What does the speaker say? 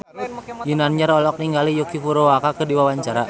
Ginanjar olohok ningali Yuki Furukawa keur diwawancara